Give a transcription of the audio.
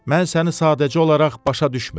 Mən səni sadəcə olaraq başa düşmürəm.